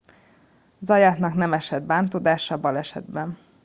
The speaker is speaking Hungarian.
zayatnak nem esett bántódása a balesetben